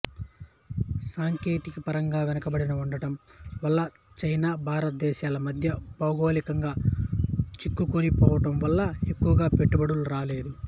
సాంకేతికపరంగా వెనుకబడి ఉండటం వల్ల చైనా భారత దేశాల మధ్య భౌగోళికంగా చిక్కుకొని పోవడం వల్ల ఎక్కువగా పెట్టుబడులు రాలేదు